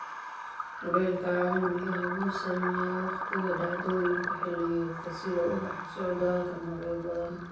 Kulaylka caalamiga ah wuxuu saameeyaa waqtiga dhacdooyinka xilliyeedka, sida ubaxa iyo socdaalka, noocyo badan.